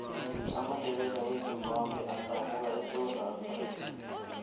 amandebele wezimbabwe adabuka esewula afrikha